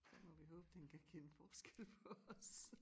Så må vi håbe den kan kende forskel på os